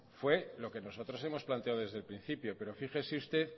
fue lo que nosotros hemos planteado desde el principio pero fíjese usted